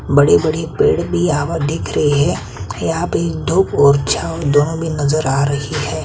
बड़ी बड़ी पेड़ भी यहाँ पर दिख रही है यहाँ पे धुप और छाँव दोनों भी नजर आ रही है। .